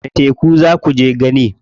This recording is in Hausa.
Wani teku za kuje gani?